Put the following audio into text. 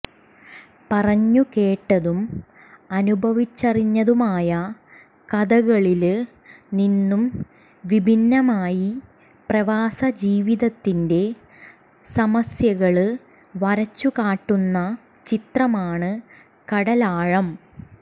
പറഞ്ഞു കേട്ടതും അനുഭവിച്ചറിഞ്ഞതുമായ കഥകളില് നിന്നും വിഭിന്നമായി പ്രവാസ ജീവിതത്തിന്റെ സമസ്യകള് വരച്ചു കാട്ടുന്ന ചിത്രമാണ് കടലാഴം